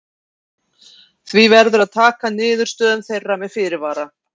Því verður að taka niðurstöðum þeirra með fyrirvara.